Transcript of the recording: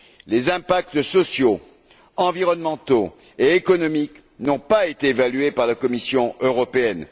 Les impacts sociaux, environnementaux et économiques n'ont pas été évalués par la Commission européenne.